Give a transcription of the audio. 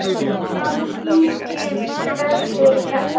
Var mikil þörf fyrir þetta?